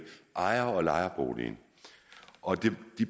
ejer og lejerbolig og